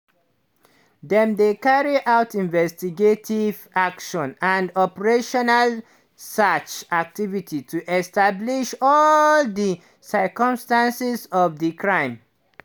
"dem dey carry out investigative actions and operational search activities to establish all di circumstances of di crime."